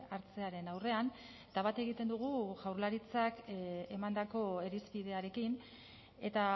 hartzearen aurrean eta bat egiten dugu jaurlaritzak emandako irizpidearekin eta